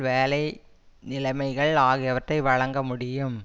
வேலை நிலைமைகள் ஆகியவற்றை வழங்க முடியும்